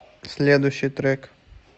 следующий трек